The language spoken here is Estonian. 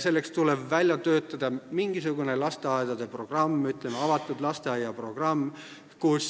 Selleks tuleb välja töötada mingisugune lasteaedade programm, ütleme, avatud lasteaia programm, kus